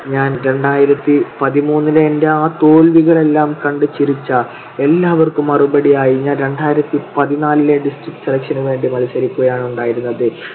ഞാൻ രണ്ടായിരത്തിപതിമൂന്നിലെ എൻ്റെ ആ തോൽവികളെല്ലാം കണ്ടു ചിരിച്ച എല്ലാവർക്കും മറുപടിയായി ഞാൻ രണ്ടായിരത്തിപതിനാലിലെ district selection നുവേണ്ടി മത്സരിക്കുകയാണ് ഉണ്ടായിരുന്നത്.